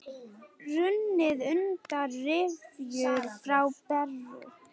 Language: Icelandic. Runnið undan rifjum frú Beru.